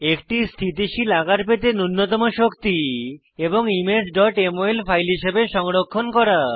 একটি স্থিতিশীল আকার পেতে নুন্যতম শক্তি এবং ইমেজ mol ফাইল হিসাবে সংরক্ষণ করা